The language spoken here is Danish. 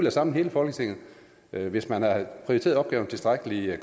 at samle hele folketinget hvis man havde prioriteret opgaven tilstrækkelig